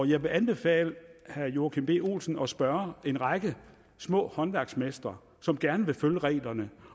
jeg vil anbefale herre joachim b olsen at spørge en række små håndværksmestre som gerne vil følge reglerne